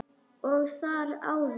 Og þar áður?